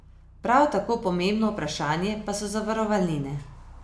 Prav tako pomembno vprašanje pa so zavarovalnine.